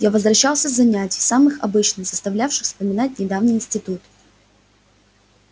я возвращался с занятий самых обычных заставлявших вспоминать недавний институт